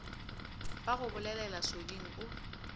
ba go bolelela soding o